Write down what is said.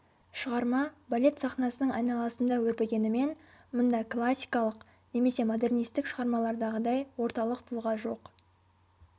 шығарма балет сахнасының айналасында өрбігенімен мұнда классикалық немесе модернистік шығармалардағыдай орталық тұлға жоқ